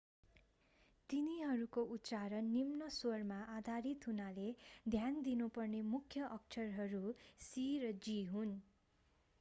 तिनीहरूको उच्चारण निम्न स्वरमा आधारित हुनाले ध्यान दिनुपर्ने मुख्य अक्षरहरू c र g हुन्